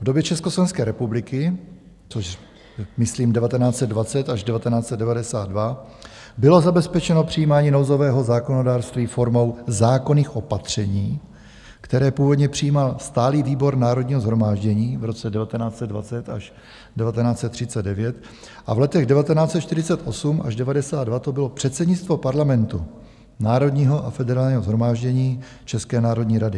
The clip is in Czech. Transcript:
V době Československé republiky, což myslím 1920 až 1992, bylo zabezpečeno přijímání nouzového zákonodárství formou zákonných opatření, která původně přijímal stálý výbor Národního shromáždění v roce 1920 až 1939, a v letech 1948 až 1992 to bylo předsednictvo parlamentu - Národního a Federálního shromáždění, České národní rady.